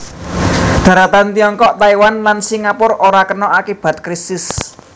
Daratan Tiongkok Taiwan lan Singapura ora kena akibat krisis